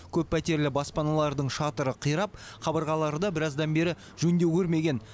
көппәтерлі баспаналардың шатыры қирап қабырғалары да біраздан бері жөндеу көрмеген